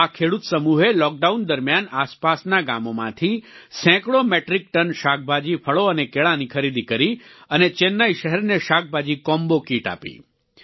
આ ખેડૂત સમૂહે લોકડાઉન દરમિયાન આસપાસના ગામોમાંથી સેંકડો મેટ્રિક ટન શાકભાજી ફળો અને કેળાંની ખરીદી કરી અને ચેન્નઈ શહેરને શાકભાજી કોમ્બો કીટ આપી